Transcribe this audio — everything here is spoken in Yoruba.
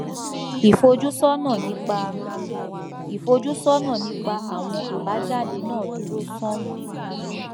ìfojúsọnà nípa ìfojúsọnà nípa àwọn àbájáde náà dúró sánún